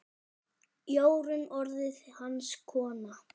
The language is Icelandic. Jórunn orðin hans kona.